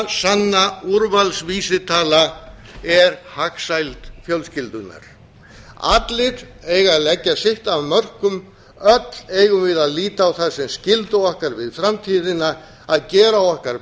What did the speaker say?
eina sanna úrvalsvísitala er hagsæld fjölskyldunnar allir eiga að leggja sitt af mörkum öll eigum við að líta á það sem skyldu okkar við framtíðina að gera okkar